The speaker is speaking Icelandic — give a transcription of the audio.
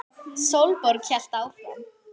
Sólborg hélt áfram.